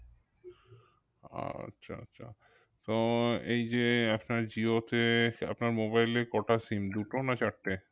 আচ্ছা আচ্ছা তো এইযে আপনার জিওতে আপনার mobile এ কটা sim দুটো না চারটে?